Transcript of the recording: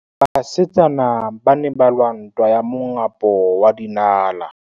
Basetsana ba ne ba lwa ntwa ya mongapô wa dinala.